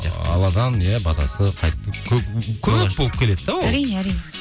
ыыы алладан иә батасы қайтіп көп болып келеді де ол әрине әрине